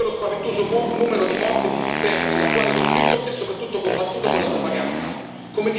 Nonostante lo spaventoso numero di morti e dispersi, l'attuale conflitto è soprattutto combattuto con la propaganda.